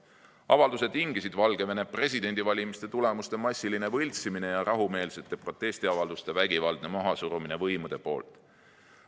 Avalduse tingisid Valgevene presidendivalimiste tulemuste massiline võltsimine ja rahumeelsete protestiavalduste vägivaldne mahasurumine võimude poolt.